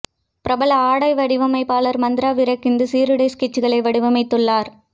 பிரபல ஆடை வடிவமைப்பாளர் மந்த்ரா விர்க் இந்த சீருடை ஸ்கெட்சுகளை வடிவமைத்துள்ளார்